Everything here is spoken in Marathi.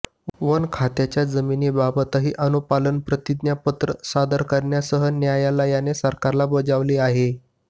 वन खात्याच्या जमीनाबाबतही अनुपालन प्रतिज्ञापत्र सादर करण्यासही न्यायालयाने सरकारला बजावले आहे